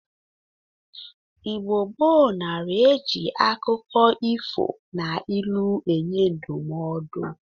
Igbo gboo nara e ji akụkọ ifo na ilu enye ndụmọdọ